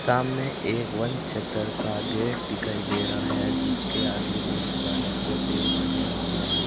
सामने एक वन क्षेत्र का गेट दिखाई दे रहा है जिसके आगे बहुत ज्यादा पौधे बने हुए हैं।